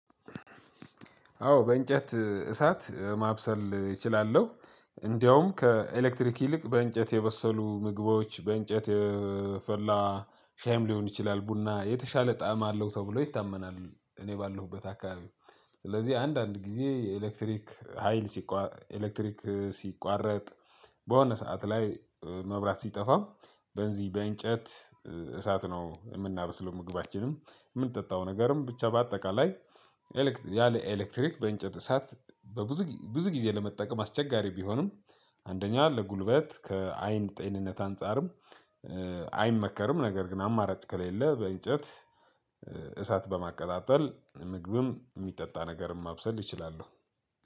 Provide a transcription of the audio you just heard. አዎ በእንጨት እሳት ማብሰል እችላለሁ። እንደውም ከኤሌክትሪክ ይልቅ በእንጨት የበሰሉ ምግቦች በእንጨት የፈላ ሻይም ሊሆን ይችላል ቡና የተሻለ ጣዕም አለው ተብሎ ይታመናል። እኔ ባለሁበት አካባቢ። ስለዚህ አንዳንድ ጊዜ የኤሌክትሪክ ሀይል ሲቋ ኤሌክትሪክ ሲቋረጥ። በሆነ ሰዓት ላይ መብራት ሲጠፋም በዚ በእንጨት እሳት ነው የምናበስለው። ምግባችንም የምንጠጣው ነገርም ብቻ በአጠቃላይ። ያለ ኤሌክትሪክ በእንጨት እሳት በብዙ ብዙ ጊዜ ለመጠቀም አስቸጋሪ ቢሆንም። አንደኛ ለጉልበት ከአይን ጤንነት አንፃርም አይመከርም። ነገር ግን አማራጭ ከሌለ በእንጨት እሳት በማቀጣጠል ምግብም የሚጠጣ ነገርም ማብሰል ይችላሉ።